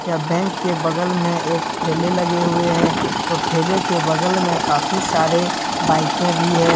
यह बैंक के बगल में एक ठेले लगे हुए हैं और ठेले के बगल में काफी सारे बाइके भी है।